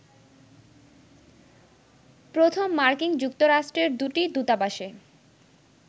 প্রথম মার্কিন যুক্তরাষ্ট্রের দুটি দূতাবাসে